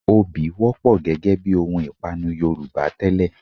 Obì wọ́pọ̀ gẹ́gẹ bí ohun ìpanu Yorùbá tẹ́lẹ̀